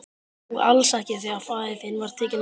Og alls ekki þegar faðir þinn var tekinn af.